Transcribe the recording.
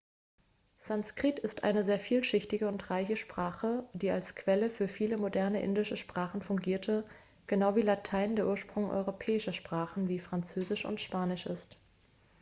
sanskrit ist eine sehr vielschichtige und reiche sprache die als quelle für viele moderne indische sprachen fungierte genau wie latein der ursprung europäischer sprachen wie französisch und spanisch ist